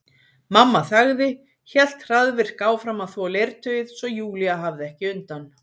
Mamma þagði, hélt hraðvirk áfram að þvo leirtauið svo Júlía hafði ekki undan.